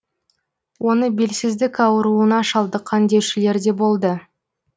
оны белсіздік ауруына шалдыққан деушілер де болды